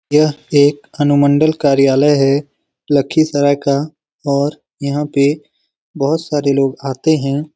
यह एक अनुमंडल कार्यालय है लक्खीसराय का और यहाँ पे बोहोत सारे लोग आते है।